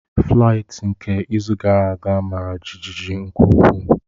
Flaịtị nke izu gara aga mara jijiji nke ukwuu.